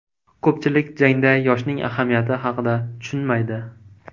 Ko‘pchilik jangda yoshning ahamiyati haqida tushunmaydi.